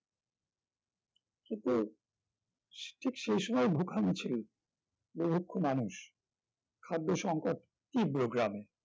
কিন্তু ঠিক সেই সময় ভুখা মিছিল বুভুক্ষ মানুষ খাদ্য সংকট তীব্র গ্রামে